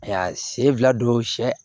A y'a sen fila don sɛ